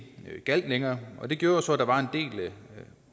gjaldt længere det gjorde jo så at der var en del